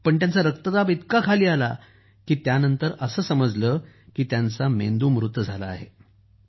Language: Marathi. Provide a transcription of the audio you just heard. परंतु त्यांचा रक्तदाब इतका खाली आला की त्यानंतर असं समजलं की त्यांचा मेंदू मृत झाला आहे